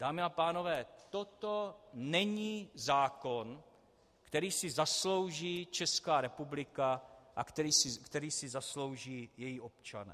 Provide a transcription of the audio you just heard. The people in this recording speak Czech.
Dámy a pánové, toto není zákon, který si zaslouží Česká republika a který si zaslouží její občané.